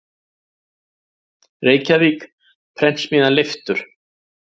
Reykjavík: Prentsmiðjan Leiftur.